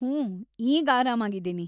ಹೂಂ ಈಗ ಆರಾಮಾಗಿದೀನಿ.